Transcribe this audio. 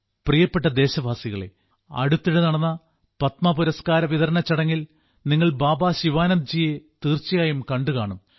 പ്രിയപ്പെട്ട ദേശവാസികളേ അടുത്തിടെ നടന്ന പത്മ പുരസ്കാര വിതരണ ചടങ്ങിൽ നിങ്ങൾ ബാബാ ശിവാനന്ദ്ജിയെ തീർച്ചയായും കണ്ടുകാണും